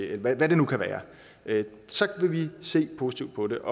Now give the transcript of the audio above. eller hvad det nu kan være så vil vi se positivt på det